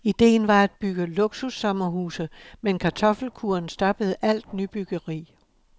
Ideen var at bygge luksussommerhuse, men kartoffelkuren stoppede alt nybyggeri.